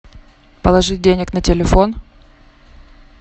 положить денег на телефон